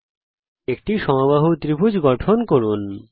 প্রথমে একটি সমবাহু ত্রিভুজ গঠন করুন